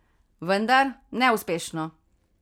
Vendar, neuspešno!